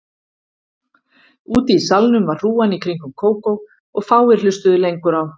Úti í salnum var hrúgan í kringum Kókó og fáir hlustuðu lengur á